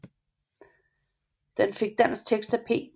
Den fik dansk tekst af P